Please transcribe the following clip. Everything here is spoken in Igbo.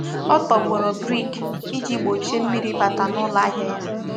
Ọ tọgbọrọ brik iji gbochie mmiri ịbata n'ụlọ ahịa ya.